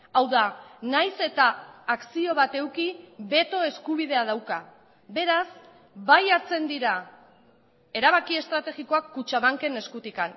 hau da nahiz eta akzio bat eduki beto eskubidea dauka beraz bai hartzen dira erabaki estrategikoak kutxabanken eskutik